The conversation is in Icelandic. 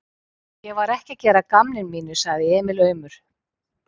Ég var ekki að gera að gamni mínu, sagði Emil aumur.